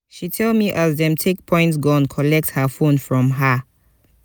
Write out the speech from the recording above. she tell me as dem take point gun collect her fone from her.